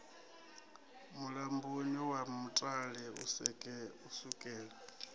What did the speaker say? mulamboni wa mutale u sukela